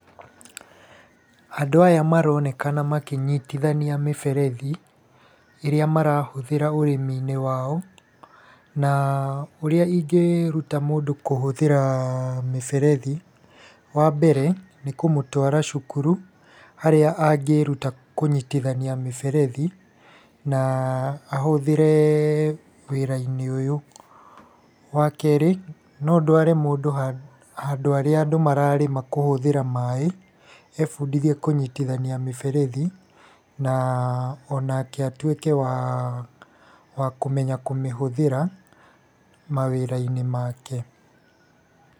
Andũ aya maronekana makĩnyitithania mĩberethi, ĩrĩa marahũthĩra ũrĩmi-inĩ wao, na ũrĩa ingĩruta mũndũ kũhũthĩra mĩberethi, wambere nĩ kũmwatara cukuru harĩa angĩĩruta kũnyitithania mĩberethi na ahũthĩre wĩra-inĩ ũyũ. Wa keerĩ no ndware mũndũ handũ harĩa andũ mararĩma kuhũthĩra maaĩ ebundithie kũnyitithania miberethi na onake atuĩke wa kũmenya kũmĩhũthĩra mawĩra-inĩ make.